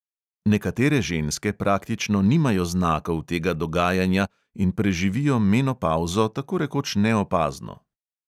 Nekatere ženske praktično nimajo znakov tega dogajanja in preživijo menopavzo tako rekoč neopazno.